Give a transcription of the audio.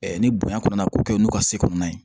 ni bonya kɔnna k'u kɛ n'u ka se kɔnɔna ye